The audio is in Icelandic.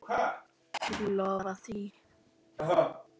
Þú lofar því?